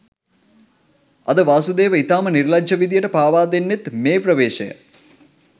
අද වාසුදේව ඉතාම නිර්ලජ්ජි විදියට පාවාදෙන්නෙත් මේ ප්‍රවේශය